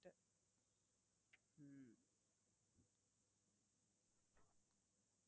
உம்